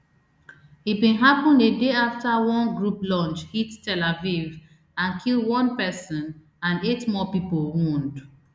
e bin happun a day afta one group launch hit tel aviv and kill one pesin and eight more pipo wound